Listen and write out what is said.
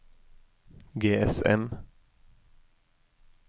GSM